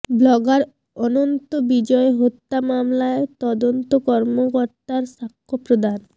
blogger Ananta Bijoy হত্যা মামলায় তদন্ত কর্মকর্তার সাক্ষ্য প্রদান